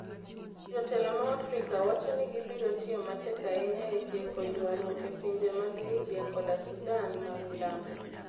Jotelo ma Afrika wacho ni gibiro tiyo matek ahinya e tieko ywaruok e pinje mag Libya koda Sudan ma Milambo